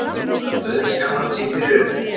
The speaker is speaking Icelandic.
Maður dauðskammast sín fyrir ykkur.